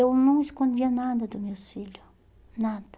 Eu não escondia nada dos meus filho, nada.